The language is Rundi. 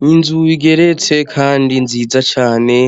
N'inzu igeretse kandi nziza cane,